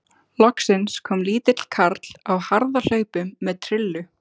Loksins kom lítill karl á harðahlaupum með trillu.